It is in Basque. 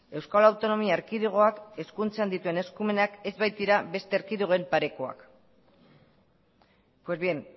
euskal autonomia erkidegoak hezkuntzan dituen eskumenak ez baitira beste erkidegoen parekoak pues bien